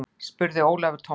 spurði Ólafur Tómasson.